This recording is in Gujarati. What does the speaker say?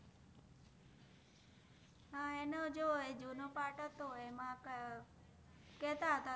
આ એનો જો જુનો part હતો એમ કેહતા હતા